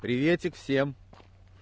приветик всем